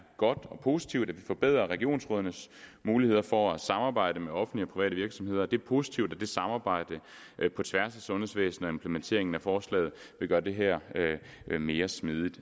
godt og positivt at vi forbedrer regionsrådenes muligheder for at samarbejde med offentlige og private virksomheder det er positivt at det samarbejde på tværs af sundhedsvæsenet og implementeringen af forslaget vil gøre det her mere smidigt